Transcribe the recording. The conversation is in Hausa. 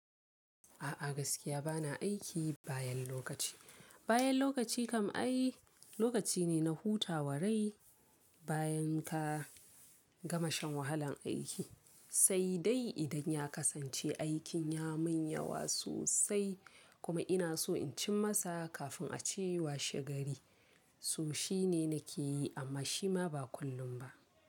A'a gaskiya bana aiki bayan lokaci. Bayan lokaci kam ai lokaci ne na hutawarai bayan ka gama shan wahalan aiki. Sai dai idan ya kasance aikin ya min yawa sosai kuma ina so in cim masa kafin a ce washe gari, so shi ne na ke yi amma shi ma ba kullum ba.